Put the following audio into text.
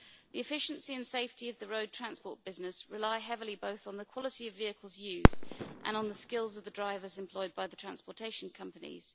The efficiency and safety of the road transport business rely heavily both on the quality of vehicles used and on the skills of the drivers employed by the transportation companies.